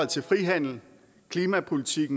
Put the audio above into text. til frihandel klimapolitik